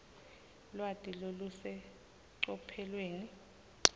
lwati lolusecophelweni